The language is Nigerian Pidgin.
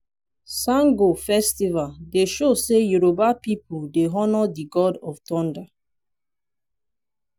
sango festival dey show sey yoruba pipu dey honour di god of thunder.